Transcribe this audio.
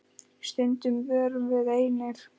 Stundum vorum við einir.